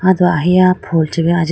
aw do ahiya phool chee bi ajite.